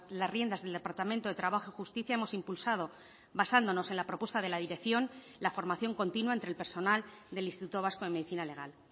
las riendas del departamento de trabajo y justicia hemos impulsado basándonos en la propuesta de la dirección la formación continua entre el personal del instituto vasco de medicina legal